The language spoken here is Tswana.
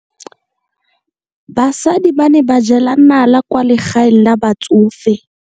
Basadi ba ne ba jela nala kwaa legaeng la batsofe.